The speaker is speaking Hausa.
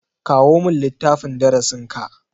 Kawo min littafin darasin ka.